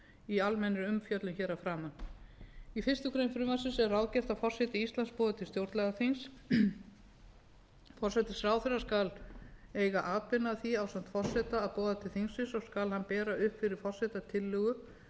í almennri umfjöllun hér að framan í fyrstu grein frumvarpsins er ráðgert að forseti íslands boði til stjórnlagaþings forsætisráðherra skal eiga atbeina að því ásamt forseta að boða til þingsins og skal hann bera upp fyrir forseta tillögu